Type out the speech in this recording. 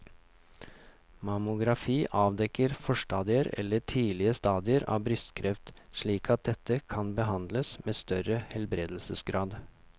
Mammografi avdekker forstadier eller tidlige stadier av brystkreft slik at dette kan behandles med større helbredelsesgrad.